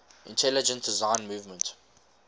intelligent design movement